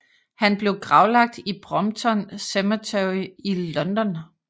Han blev gravlagt i Brompton Cemetery i London